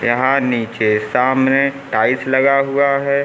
यहां नीचे सामने टाइल्स लगा हुआ है।